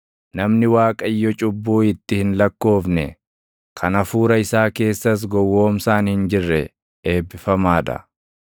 Namni Waaqayyo cubbuu itti hin lakkoofne, kan hafuura isaa keessas gowwoomsaan hin jirre, eebbifamaa dha.